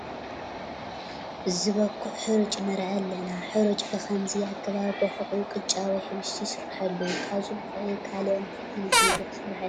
ዝበኩዕ ሕሩጭ ንርኢ ኣለና፡፡ ሕሩጭ ብኸምዚ ኣገባብ ቦኹዑ ቕጫ ወይ ሕብሽቲ ይስርሐሉ፡፡ ካብዚ ቡክዒ ካልእ እንታይ ዓይነት ምግቢ ክስራሕ ይኽእል?